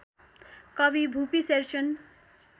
कवि भुपि शेरचन